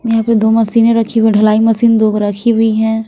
यहाँ पर दो मशीनें रखी हुई हैं ढलाई मशीन दो रखी हुई हैं।